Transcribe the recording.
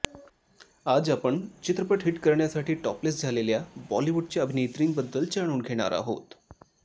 आज आपण चित्रपट हिट करण्यासाठी टॉपलेस झालेल्या बॉलिवूडच्या अभिनेत्रींबद्दल जाणून घेणार आहोत